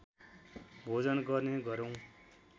भोजन गर्ने गरौँ